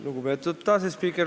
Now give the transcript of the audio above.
Lugupeetud asespiiker!